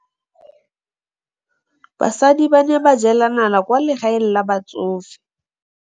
Basadi ba ne ba jela nala kwaa legaeng la batsofe.